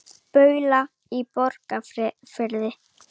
Baula í Borgarfirði.